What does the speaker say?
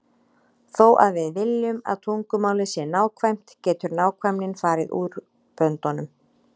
Þó að við viljum að tungumálið sé nákvæmt getur nákvæmnin farið út böndunum.